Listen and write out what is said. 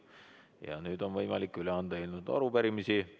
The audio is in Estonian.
Ja nüüd on võimalik üle anda eelnõusid ja arupärimisi.